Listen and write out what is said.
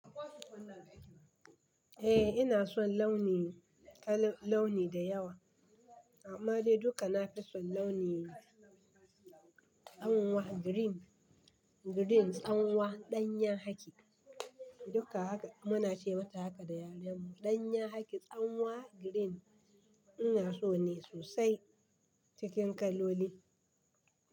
Eh ina son launi, launi da yawa. Amma dai duka na fi son launi, tsanwa green, green tsanwa danyan haki. Duka haka muna ce mata haka da yaren mu danyan haki, tsanwa green ina so ne sosai cikin kaloli.